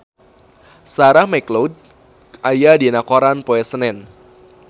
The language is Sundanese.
Sarah McLeod aya dina koran poe Senen